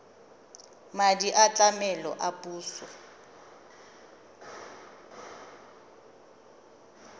madi a tlamelo a puso